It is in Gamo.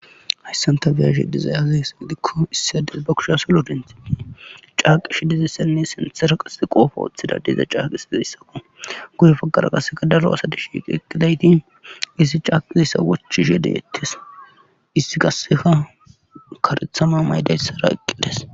Hayssan ta bi7ashe dizay aze giikko issi ades ba kusha salo dintii caaqi shi dizissenine sintsera qase qoofo woththida deza caaqisizayssaku gude fagara qasseka daro asadi shiqeqidayti issi caaqizeyssa wochishe de7ettes issi kasseka karethama maydayssara eqqides.